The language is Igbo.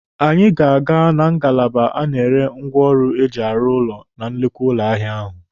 Anyị ga-aga na ngalaba a na-ere ngwaọrụ eji arụ ụlọ na nnukwu ụlọ ahịa ahụ.